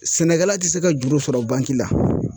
Sɛnɛkɛla ti se ka juru sɔrɔ bangi la.